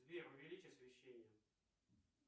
сбер увеличь освещение